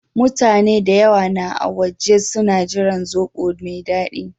Mutane da yawa na a waje suna jiran zobo na mai dadi.